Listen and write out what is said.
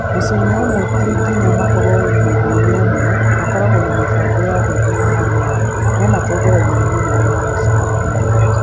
mũciĩ-inĩ ũmwe no ti nginya makorũo nyũmba-inĩ ĩmwe makoragwo na mĩbango ya kũruga ĩhaanaine, na matongoragio nĩ mũnene wa mũciĩ ũmwe.